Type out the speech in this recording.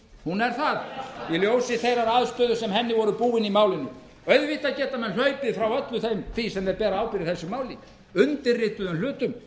hún er það í ljósi þeirrar aðstöðu sem henni voru búin í málinu auðvitað geta menn hlaupið frá öllu því sem þeir bera ábyrgð í þessu máli undirrituðum hlutum